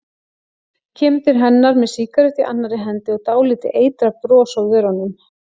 Kemur til hennar með sígarettu í annarri hendi og dálítið eitrað bros á vörunum.